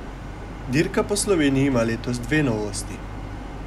Dirka po Sloveniji ima letos dve novosti.